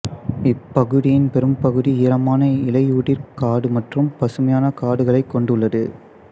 இப்பகுதியின் பெரும்பகுதி ஈரமான இலையுதிர் காடு மற்றும் பசுமையான காடுகளைக் கொண்டுள்ளது